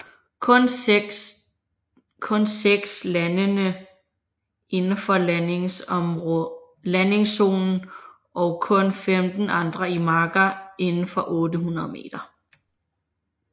Kun seks landene indenfor landingszonen og kun 15 andre i marker indenfor 800 meter